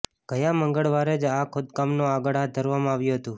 ગયા મંગલવારે જ આ ખોદકામને આગળ હાથ ધરવામાં આવ્યું હતું